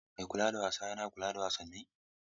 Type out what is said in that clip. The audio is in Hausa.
Mai kula da wasa yana kula da wasanni.